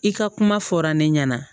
I ka kuma fɔra ne ɲɛna